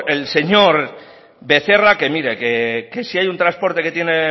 el señor becerra que mira que si hay un transporte que tiene